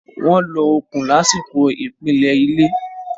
Wọ́n lo okùn lásìkò ìpìlẹ̀ ilé.